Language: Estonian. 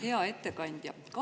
Hea ettekandja!